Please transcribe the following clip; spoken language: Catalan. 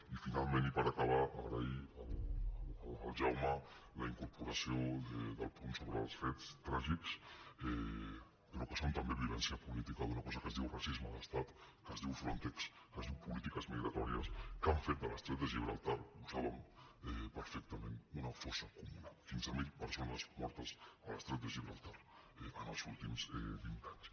i finalment i per acabar agrair al jaume la incorporació del punt sobre els fets tràgics però que són també violència política d’una cosa que es diu racisme d’estat que es diu frontex que es diu polítiques migratòries que han fet de l’estret de gibraltar ho saben perfectament una fossa comuna quinze mil persones mortes a l’estret de gibraltar els últims vint anys